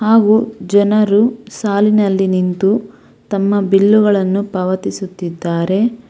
ಹಾಗು ಜನರು ಸಾಲಿನಲ್ಲಿ ನಿಂತು ತಮ್ಮ ಬಿಲ್ಲುಗಳನ್ನು ಪಾವತಿಸುತಿದ್ದಾರೆ.